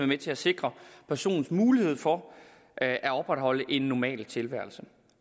med til at sikre personens mulighed for at at opretholde en normal tilværelse